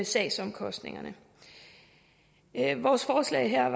sagsomkostningerne vores forslag her